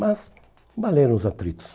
Mas valeram os atritos.